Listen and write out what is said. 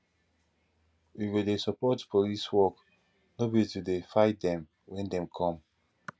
we go dey support police work no be to dey fight dem wen dem come